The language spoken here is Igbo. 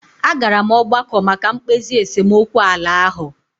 A gara m ọgbakọ maka mkpezi esemokwu ala ahụ.